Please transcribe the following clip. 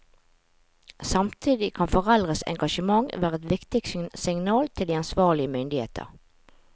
Samtidig kan foreldres engasjement være et viktig signal til de ansvarlige myndigheter.